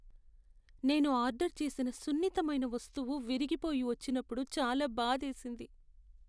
నేను ఆర్డర్ చేసిన సున్నితమైన వస్తువు విరిగిపోయి వచ్చినప్పుడు చాలా బాధేసింది.